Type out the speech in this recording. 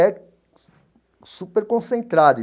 É super concentrado.